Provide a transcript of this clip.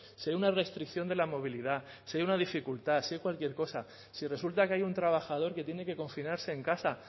dé una restricción de la movilidad se dé una dificultad se dé cualquier cosa si resulta que hay un trabajador que tiene que confinarse en casa